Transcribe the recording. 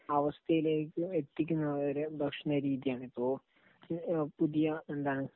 അവസ്ഥയിലേയ്ക് എത്തിക്കുന്ന ഒരു ഭക്ഷണരീതിയാണ്. ഇപ്പൊ പുതിയ എന്താണ്,